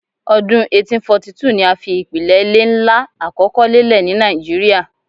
Ọdun 1842 ni a fi ipilẹ ile nla akọkọ lelẹ ni Naijiria